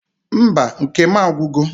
Mba nke m agwugo